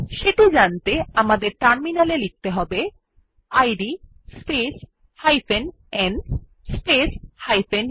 সেটি জানতে আমাদের টার্মিনাল এ লিখতে হবে id space n space u